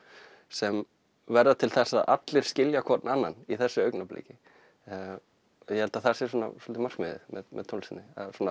sem verða til þess að allir skilja hvorn annan í þessu augnabliki og ég held að það sé svona svolítið markmiðið með tónlistinni að